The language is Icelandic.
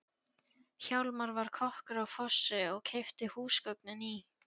Hjálmar var kokkur á fossi og keypti húsgögnin í